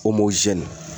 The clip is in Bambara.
Omin